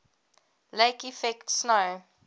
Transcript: lake effect snow